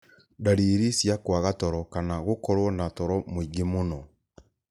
ndariri cia kwaga toro kana gũkorwo na toro mũingĩ mũno.